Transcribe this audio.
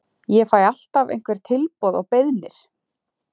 Ég fæ alltaf einhver tilboð og beiðnir.